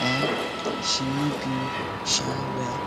um she no been um well